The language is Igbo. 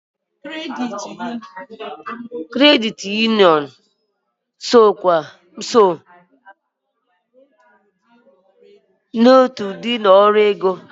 Kredit Uniọn bụ otu ụdị ụlọ ọrụ ego.